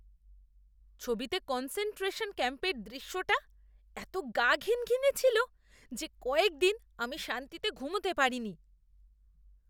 ছবিতে কনসেনট্রেশন ক্যাম্পের দৃশ্যটা এত গা ঘিনঘিনে ছিল যে কয়েক দিন আমি শান্তিতে ঘুমাতে পারিনি।